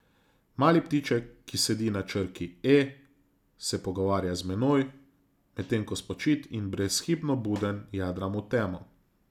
Mali ptiček, ki sedi na črki E, se pogovarja z menoj, medtem ko spočit in brezhibno buden jadram v temo.